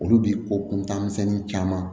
Olu bi ko kuntanmisɛnnin caman